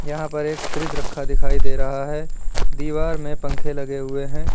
यहां पर एक फ्रिज रखा दिखाई दे रहा है दीवार में पंखे लगे हुए हैं।